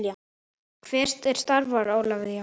Hver er staðan Ólafía?